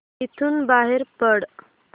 इथून बाहेर पड